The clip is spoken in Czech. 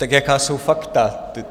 Tak jaká jsou fakta?